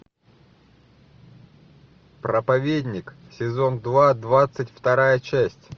проповедник сезон два двадцать вторая часть